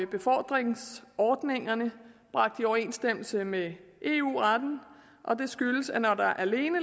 befordringsordningerne bragt i overensstemmelse med eu retten og det skyldes at når der alene